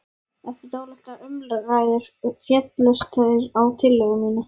Eftir dálitlar umræður féllust þeir á tillögu mína.